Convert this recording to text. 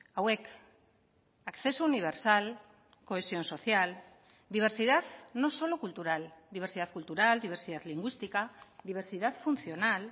hauek acceso universal cohesión social diversidad no solo cultural diversidad cultural diversidad lingüística diversidad funcional